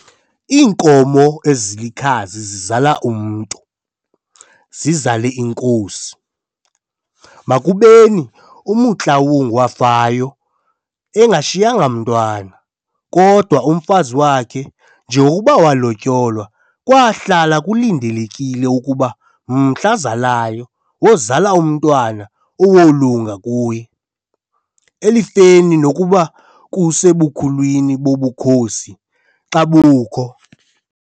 Iinkomo ezilikhazi zizala umntu, zizale inkosi, makubeni uMotloang wafayo engashiye mntwana, kodwa umfazi wakhe njengokuba walotyolwayo kwaahlala kulindelekile ukuba mhla azalayo wozala umntwana owolunga kuye, elifeni nokuba kusebukhulwini bobukhosi xa bukho.